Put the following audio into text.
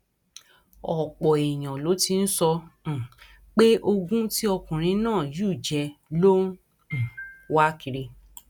ọpọ èèyàn ló ti ń sọ um pé ogún tí ọkùnrin náà yù jẹ ló ń um wá kiri